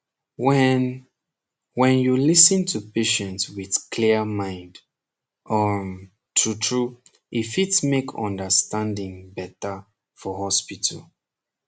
wen wen you lis ten to patient wit clia mind um trutru e fit make understandin better for hospital